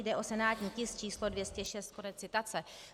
Jde o senátní tisk č. 206. Konec citace.